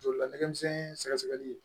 Joli ladege misɛn ye sɛgɛ sɛgɛli